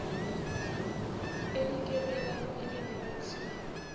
e ikemelang e le notshi